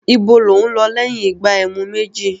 Ibo lò ún lọ lẹ́yìn ìgbà ẹmu méjì?